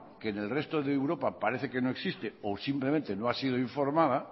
que en el resto de europa parece que no existe o simplemente no ha sido informada